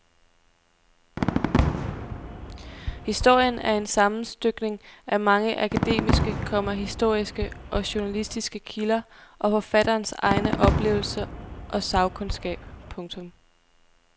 Historien er en sammenstykning af mange akademiske, komma historiske og journalistiske kilder og forfatterens egne oplevelser og sagkundskab. punktum